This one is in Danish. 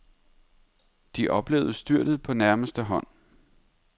De oplevede styrtet på nærmeste hånd.